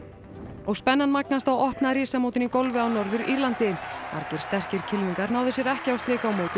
og spennan magnast á opna risamótinu í golfi á Norður Írlandi margir sterkir kylfingar náðu sér ekki á strik á mótinu